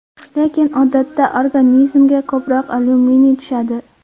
Lekin odatda organizmga ko‘proq alyuminiy tushadi.